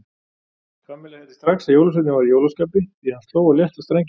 Kamilla heyrði strax að jólasveinninn var í jólaskapi því hann sló á létta strengi.